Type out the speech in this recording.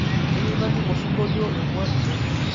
kayieu naning' osingolio emua ino